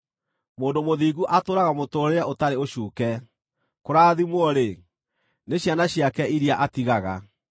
Mũndũ mũthingu atũũraga mũtũũrĩre ũtarĩ ũcuuke; kũrathimwo-rĩ, nĩ ciana ciake iria atigaga.